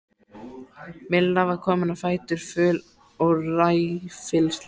Milla var komin á fætur, föl og ræfilsleg.